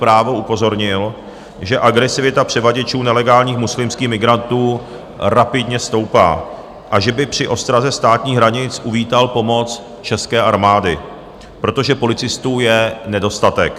Právo upozornil, že agresivita převaděčů nelegálních muslimských migrantů rapidně stoupá a že by při ostraze státních hranic uvítal pomoc České armády, protože policistů je nedostatek.